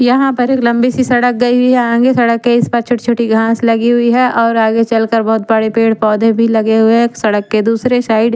यहाँ पर लम्बी सी सड़क गयी हुई है आगे सड़क के इस पार छोटी छोटी घास लगी हुई है और आगे चल कर बहुत बड़े पेड़ पोधे लगे हुए हैं सड़क के दुसरे साइड --